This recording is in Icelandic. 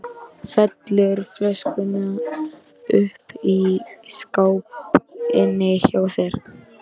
Felur flöskuna uppi í skáp inni hjá sér.